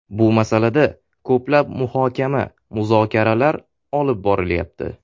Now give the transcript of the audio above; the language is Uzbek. Bu masalada ko‘plab muhokama-muzokaralar olib borilyapti.